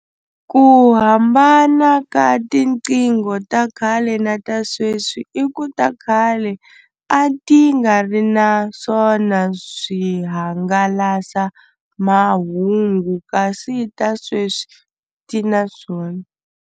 Ku hambana ka tiqingho ta khale na ta sweswi i ku ta khale a ti nga ri naswona swihangalasamahungu kasi ta sweswi ti na swona.